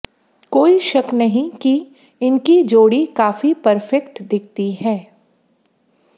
कोई शक नहीं कि इनकी जोड़ी काफी परफेक्ट दिखती है